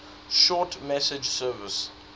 short message service